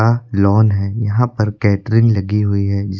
lawn है यहां पर कैटरिंग लगी हुई है जीस--